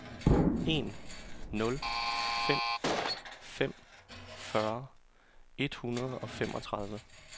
en nul fem fem fyrre et hundrede og femogtredive